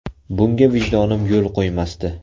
Bunga vijdonim yo‘l qo‘ymasdi.